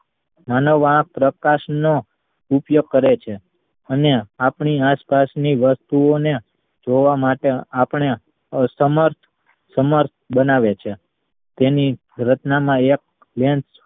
માનવ આંખ પ્રકાશ નો ઉપયોગ કરે છે અને આપણી આસપાસ ની વસ્તુ ઓ ને જોવા માટે આપણે અ સમર્થ સમર્થ બનાવે છે તેની રચના માં એક lens